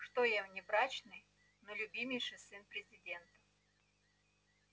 что я внебрачный но любимейший сын президента